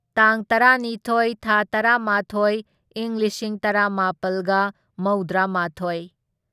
ꯇꯥꯡ ꯇꯔꯥꯅꯤꯊꯣꯢ ꯊꯥ ꯇꯔꯥꯃꯥꯊꯣꯢ ꯢꯪ ꯂꯤꯁꯤꯡ ꯇꯔꯥꯃꯥꯄꯜꯒ ꯃꯧꯗ꯭ꯔꯥꯃꯥꯊꯣꯢ